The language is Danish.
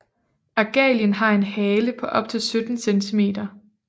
Argalien har en hale på op til 17 cm